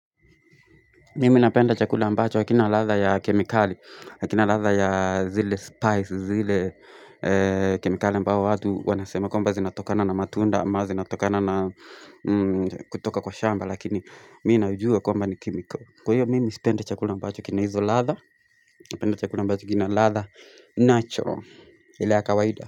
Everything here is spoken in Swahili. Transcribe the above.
Mimi napenda chakula ambacho wakina latha ya kemikali, wakina latha ya zile spice, zile kemikali mbao watu wanasema kumba zinatokana na matunda, ma zinatokana na kutoka kwa shamba lakini mimi naujua kwamba ni kemiko. Kwa hiyo mimi sipenda chakula ambacho kina hizo latha, napenda chakula ambacho kina latha natural, ile ya kawaida.